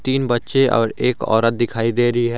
तीन बच्चे और एक औरत दिखाई दे रही है।